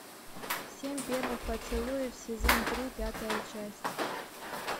семь первых поцелуев сезон три пятая часть